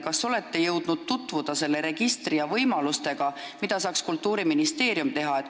Kas te olete jõudnud tutvuda selle registri ja võimalustega, mida saaks Kultuuriministeerium teha?